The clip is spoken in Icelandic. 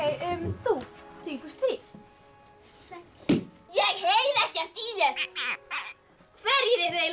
þú þrír plús þrír sex ég heyri ekkert í þér hverjir eru eiginlega